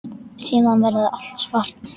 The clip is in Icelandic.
Síðan verður allt svart.